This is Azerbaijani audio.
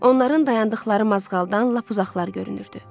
Onların dayandıqları mazğaldan lap uzaqlar görünürdü.